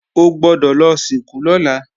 O gbọ́dọ̀ lọ sìnkú lọ́la!